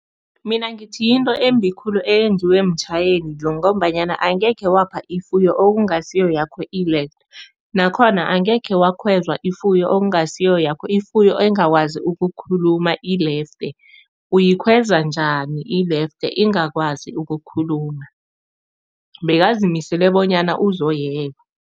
Mina ngithi yinto embi khulu eyenziwe mtjhayeli lo ngombanyana angekhe wapha ifuyo ekungasiwo yakho ilefte, nakhona angekhe wakhweza ifuyo okungasiyo yakho, ifuyo engakwazi ukukhuluma ilefte. Uyikhweza njani ilefte ingakwazi ukukhuluma? Bekazimisele bonyana uzoyeba.